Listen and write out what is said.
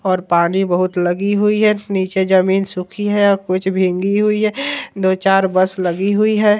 और पानी बहुत लगी हुई है नीचे जमीन सुखी है कुछ भींगी हुई है दो चार बस लगी हुई है।